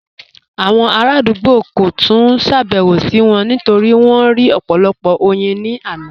Awọn aladugbo kò túń ṣàbẹwò sí wọn nítorí wọn rí ọpọ̀lọpọ̀ oyin ni àná.